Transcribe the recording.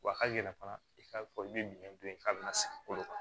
Wa hali fana i k'a fɔ i bɛ bin don in k'a bɛna sigi kolo kan